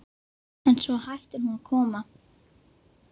En svo hættir hún að koma.